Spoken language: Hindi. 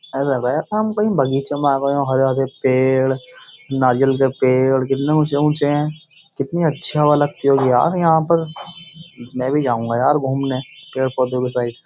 हम कही बगीचे में आ गए हो। हरे-हरे पेड़ नारियल के पेड़ कितने ऊच्चे-ऊच्चे हैं। कितनी अच्छी हवा लगती होगी यार यहाँ पर। मै भी जाऊंगा यार घूमने पेड़-पौधों के साइड ।